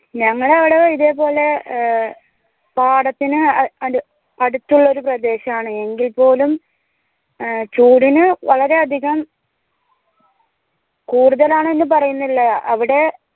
ഞങ്ങട അവിടെ ഇതേ പോലെ ഏർ പാഠത്തിന് അ അടു അടുത്തുള്ളൊരു പ്രദേശാണ് എങ്കിൽ പോലും ആഹ് ചൂടിന് വളരെ അധികം കൂട്റ്റ്ഹാലാണ് എന്ന് പറയുന്നില്ല അവിടെ